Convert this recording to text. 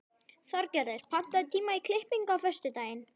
Þorgerður, pantaðu tíma í klippingu á föstudaginn.